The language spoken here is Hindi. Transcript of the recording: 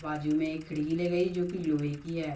बाजु में एक खिड़की लगाई जो की लोहै की है।